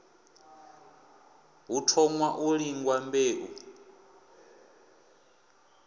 hu thoṅwa u lingwa mbeu